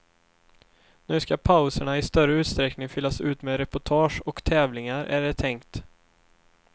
Nu ska pauserna i större utsträckning fyllas ut med reportage och tävlingar, är det tänkt.